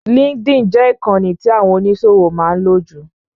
LinkedIn jẹ ìkànì tí àwọn oníṣòwò máa ń lò jù.